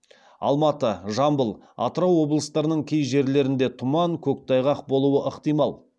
алматы жамбыл атырау облыстарының кей жерлеріңде тұман көктайғақ болуы ықтимал